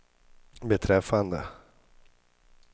beträffande